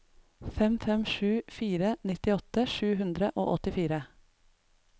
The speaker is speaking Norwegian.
fem fem sju fire nittiåtte sju hundre og åttifire